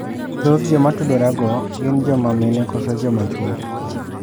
Dhoth joma atudora go gin joma mine kose joma chuo?